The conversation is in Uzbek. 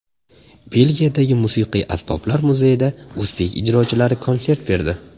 Belgiyadagi Musiqiy asboblar muzeyida o‘zbek ijrochilari konsert berdi.